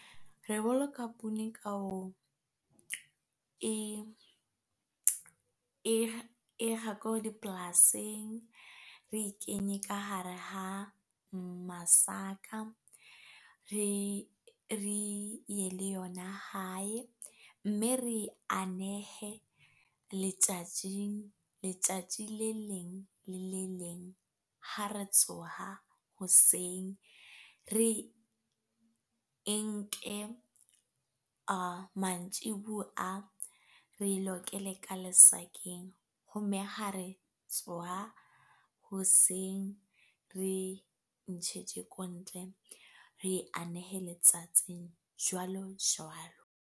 Re boloka poone ka ho e kga ko dipolasing. Re kenye ka hare ha masaka, re ye le yona hae, mme re anehe letjatjing, letjatji le leng le le leng ha re tsoha hoseng. Re e nke mantjiboa re lokele ka lesakeng ho me ha re tsoha hoseng, re ko ntle re anehe letsatsing jwalo jwalo.